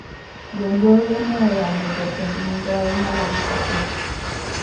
Jonjore ne oyanyo jatend migao mar arita kwe